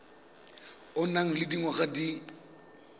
o nang le dingwaga di